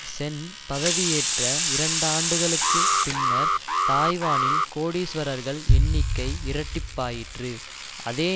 சென் பதவியேற்ற இரண்டாண்டுகளுக்குப் பின்னர் தாய்வானில் கோடீஸ்வரர்கள் எண்ணிக்கை இரட்டிப்பாயிற்று அதே